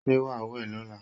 Ṣé wàá wẹ̀ lọ́la?